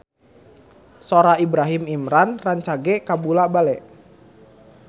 Sora Ibrahim Imran rancage kabula-bale